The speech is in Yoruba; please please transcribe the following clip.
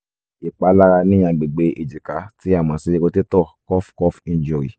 ìpalára ní agbègbè ejika tí a mọ̀ sí rotator cuff cuff injury